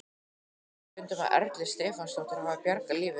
Ég segi stundum að Erla Stefánsdóttir hafi bjargað lífi mínu.